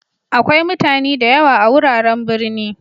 Akwai mutani da yawa a'wuraren birni.